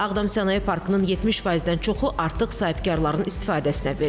Ağdam sənaye parkının 70%-dən çoxu artıq sahibkarların istifadəsinə verilib.